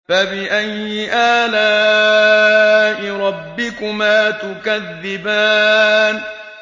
فَبِأَيِّ آلَاءِ رَبِّكُمَا تُكَذِّبَانِ